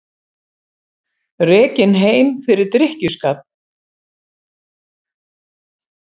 Rekinn heim fyrir drykkjuskap